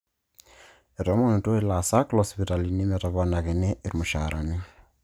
Ketoomonutuo ilaasak loosipitalini metoponakini irmushaarani